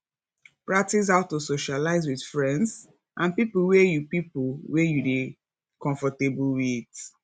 practice how to socialize with friends and pipo wey you pipo wey you dey comfortable with